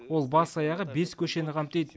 ол бас аяғы бес көшені қамтиды